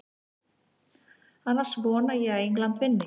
Annars vona ég að England vinni.